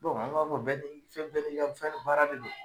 an b'a fɔ bɛɛ ni fɛn bɛɛ ni fɛn baara de do